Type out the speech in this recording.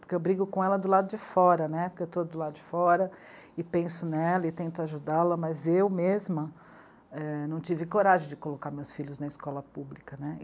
Porque eu brigo com ela do lado de fora, né, porque eu estou do lado de fora e penso nela e tento ajudá-la, mas eu mesma, é... não tive coragem de colocar meus filhos na escola pública.